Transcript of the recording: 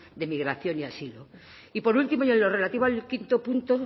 de migración y asilo y por último y en lo relativo al quinto punto